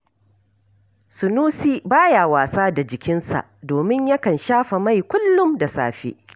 Sunusi ba ya wasa da jikinsa, domin yakan shafa mai kullum da safe